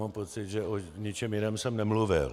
Mám pocit, že o ničem jiném jsem nemluvil.